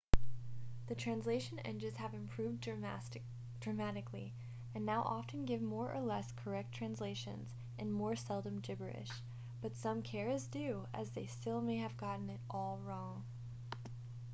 the translation engines have improved dramatically and now often give more or less correct translations and more seldom gibberish but some care is due as they still may have gotten it all wrong